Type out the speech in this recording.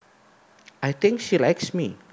I think she likes me